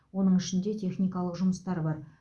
оның ішінде техникалық жұмыстар бар